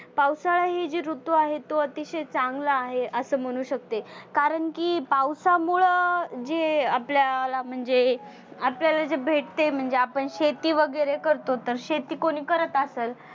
पावसाळा हे जे ऋतू आहे तो अतिशय चांगला आहे असं म्हणु शकते. कारण की पावसामुळ जे आपल्याला म्हणजे, आपल्याला जे भेटते म्हणजे आपण शेती वगैरे करतो तर शेती कोणी करत असेल